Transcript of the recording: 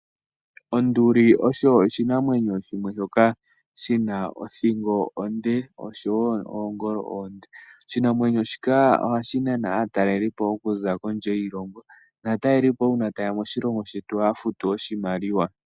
Onduli osho oshinamwenyo shimwe shoka shina othingo onde osho woo oongolo oonde oshinamwenyo shika ohashi nana aatalelipo okuza kondje yiilongo naatalelipo uuna ta ye ya moshilongo shetu ohaya futu oshimaliwa.